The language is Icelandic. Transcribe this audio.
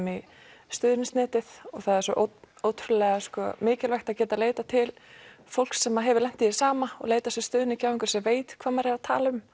í stuðningsnetið og það er svo ótrúlega mikilvægt að geta leitað til fólks sem hefur lent í því sama og leitað sér stuðnings til einhvers sem veit hvað maður er að tala um